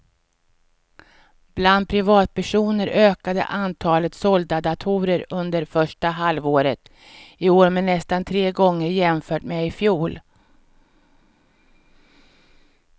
Bland privatpersoner ökade antalet sålda datorer under första halvåret i år med nästan tre gånger jämfört med i fjol.